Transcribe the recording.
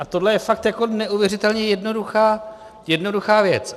A tohle je fakt jako neuvěřitelně jednoduchá věc.